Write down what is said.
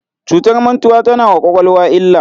Cutar mantuwa tana wa kwakwalwa illa.